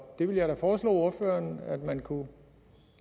det vil jeg da foreslå ordføreren at man kunne